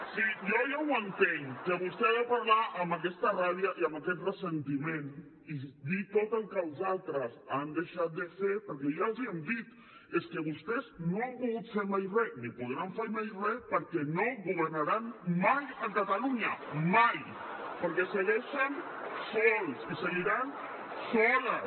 si jo ja ho entenc que vostè ha de parlar amb aquesta ràbia i amb aquest ressentiment i dir tot el que els altres han deixat de fer perquè ja els hi hem dit és que vostès no han pogut fer mai re ni podran fer mai re perquè no governaran mai a catalunya mai perquè segueixen sols i seguiran soles